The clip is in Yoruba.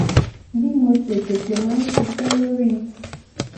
bí mo ṣe tètè máa ń ṣise lori